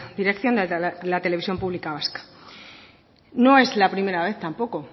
dirección de la televisión pública vasca no es la primera vez tampoco